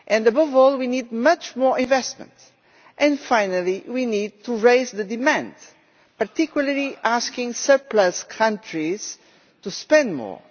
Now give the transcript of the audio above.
Above all, we need much more investment and, finally, we need to raise demand, particularly asking surplus countries to spend more.